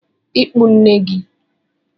Ikpu nne Nne